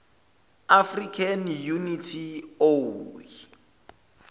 african unity oau